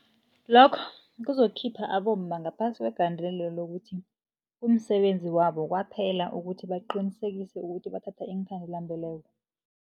Lokho kuzokukhipha abomma ngaphasi kwegandelelo lokuthi, kumsebenzi wabo kwaphela ukuthi baqinisekise ukuthi bathatha iinkhandela-mbeleko.